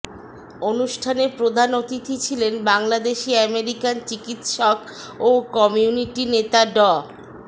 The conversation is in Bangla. অনুষ্ঠানে প্রধান অতিথি ছিলেন বাংলাদেশি আমেরিকান চিকিৎসক ও কমিউনিটি নেতা ড